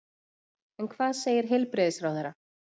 En hvað segir heilbrigðisráðherra?